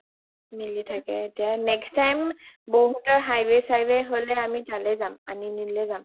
মিলি থাকে, next time বৌ হতৰ highway চিগৱে হ’লে আমি তালে যাব আনিললে যাম